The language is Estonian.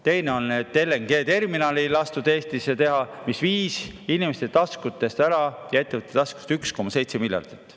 Teine on see, et LNG terminali ei lastud Eestisse teha, mis viis inimeste ja ettevõtete taskutest ära 1,7 miljardit.